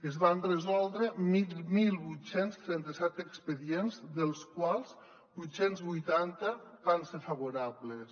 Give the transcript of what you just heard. es van resoldre divuit trenta set expedients dels quals vuit cents i vuitanta van ser favorables